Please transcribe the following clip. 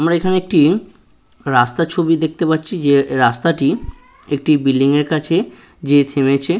আমরা এখানে একটি রাস্তার ছবি দেখতে পাচ্ছি যে রাস্তাটি একটি বিল্ডিং -এর কাছে যেয়ে থেমেছে।